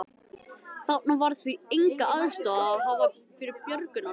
Þarna var því enga aðstoð að hafa fyrir björgunarstarf.